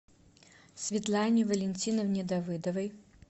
светлане валентиновне давыдовой